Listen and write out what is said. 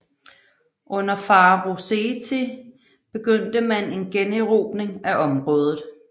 Under farao Seti I begyndte man en generobring af området